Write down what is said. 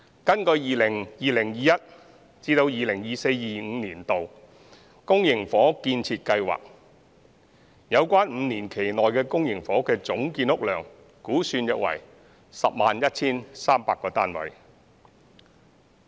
根據 2020-2021 年度至 2024-2025 年度公營房屋預測建屋量，有關5年期內的公營房屋的總建屋量估算約為 101,300 個單位。